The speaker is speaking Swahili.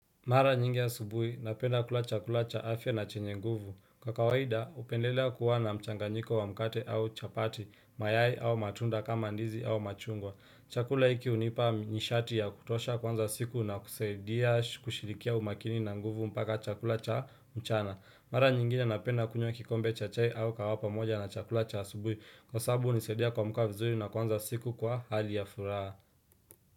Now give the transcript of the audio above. Mara nyingi asubuhi, napenda kula chakula cha afya na chenye nguvu. Kwa kawaida, hupendelea kuwa na mchanganyiko wa mkate au chapati, mayai au matunda kama ndizi au machungwa. Chakula hiki hunipa nishati ya kutosha kuanza siku na kusaidia kushirikia umakini na nguvu mpaka chakula cha mchana. Mara nyingine napenda kunywa kikombe cha chai au kawaha pamoja na chakula cha asubuhi. Kwa sababu hunisaidia kuamka vizuri na kuanza siku kwa hali ya furaha.